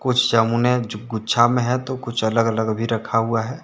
कुछ जामुने जो गुच्छा में है। तो कुछ अलग अलग भी रखा हुआ है।